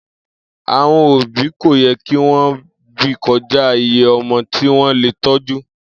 Àwo̩n òbí kò ye̩ kí wo̩n bí ko̩já iye o̩mo̩ tí wó̩n lè tó̩jú